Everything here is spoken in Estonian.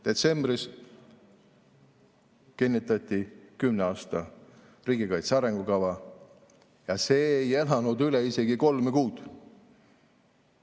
Detsembris kinnitati kümne aasta riigikaitse arengukava, ja see ei elanud üle isegi kolme kuud.